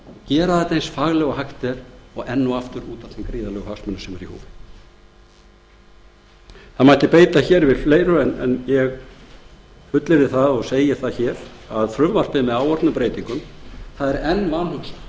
gera þetta eins faglega og hægt er og enn og aftur út af þeim gríðarlegu hagsmunum sem eru í húfi það mætti bæta fleiru við hér en ég fullyrði það og segi hér að frumvarpið með áorðnum breytingum er enn vanhugsað